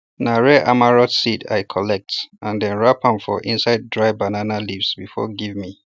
na rare amaranth seeds i collect and dem wrap am for inside dry banana leaves before give me